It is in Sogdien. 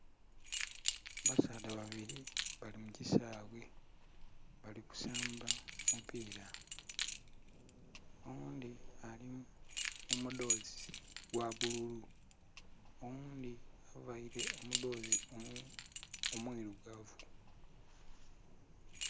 Basaadha babiri bali mukisaghe bali kusamba mupira oghundhi alimumudhozi ogwa bbululu, oghundhi avaire omudhozi omwiirugavu.